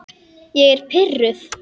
Ég er pirruð.